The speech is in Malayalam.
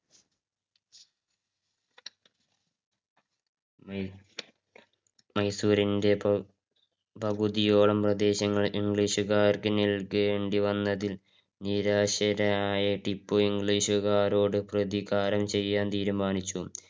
മൈസൂറിന്റെ പകു~ പകുതിയോളം പ്രദേശങ്ങള് english കാർക്ക് നൽകേണ്ടി വന്നതിൽ നിരാശനായ ടിപ്പു english കാരോട് പ്രതികാരം ചെയ്യാന് തീരുമാനിച്ചു.